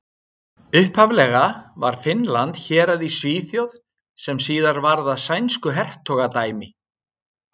Upphaflega var Finnland hérað í Svíþjóð sem síðar varð að sænsku hertogadæmi.